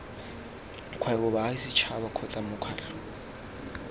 kgwebo baagi setšhaba kgotsa mokgatlho